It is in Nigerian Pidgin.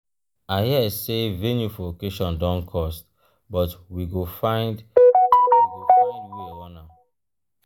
i hear sey venue for occasion don cost but we go find we go find wey run am.